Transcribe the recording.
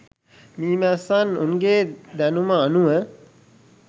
මීමැස්සන් උන්ගේ දැනුම අනුව